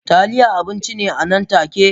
Taliya abinci ne nan take